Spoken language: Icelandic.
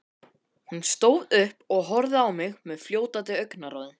Hún stóð upp og horfði á mig fljótandi augnaráði.